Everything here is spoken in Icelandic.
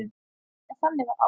En þannig var Ása.